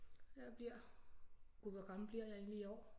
Jeg bliver gud hvor gammel bliver jeg egentligt i år